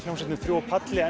hljómsveitin þrjú á palli